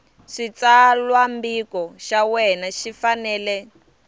xitsalwambiko xa wena xi fanele